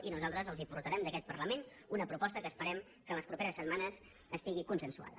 i nosaltres els portarem d’aquest parlament una proposta que esperem que en les properes setmanes estigui consensuada